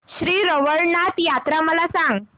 श्री रवळनाथ यात्रा मला सांग